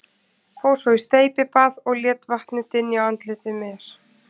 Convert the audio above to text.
Fór svo í steypibað og lét vatnið dynja á andliti mér.